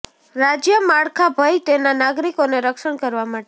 રાજ્ય માળખાં ભય તેના નાગરિકોને રક્ષણ કરવા માટે